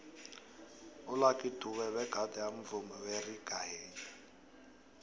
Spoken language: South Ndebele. ulucky dube begade amvumi weraggae